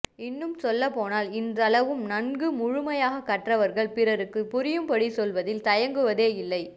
இன்னும் சொல்லப்போனால் இன்றளவும் நன்கு முழுமையாகக் கற்றவர்கள் பிறருக்குப் புரியும்படி சொல்வதில் தயங்குவதே இல்லை